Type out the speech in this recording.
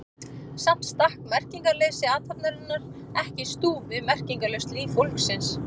Samt stakk merkingarleysi athafnarinnar ekki í stúf við meiningarlaust líf fólksins.